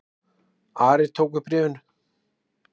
Ari tók við bréfinu.